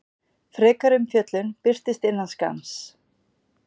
Frekari umfjöllun birtist innan skamms.